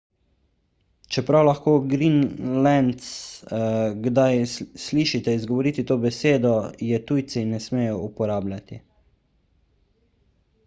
čeprav lahko grenlandce kdaj slišite izgovoriti to besedo je tujci ne smejo uporabljati